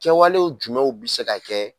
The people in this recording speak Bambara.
Kɛwalew jumɛnw bi se ka kɛ